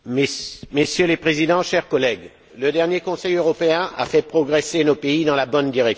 Messieurs les Présidents, chers collègues, le dernier Conseil européen a fait progresser nos pays dans la bonne direction.